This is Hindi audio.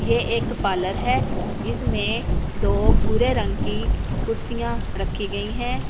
ये एक पार्लर है जिसमे दो भूरे रंग की कुर्सियां रखी गयी है।